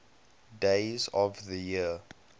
days of the year